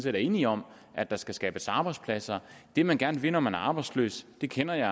er enige om at der skal skabes arbejdspladser det man gerne vil når man er arbejdsløs det kender jeg